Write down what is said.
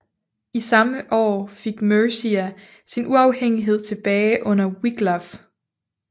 Samme år fik Mercia sin uafhængighed tilbage under Wiglaf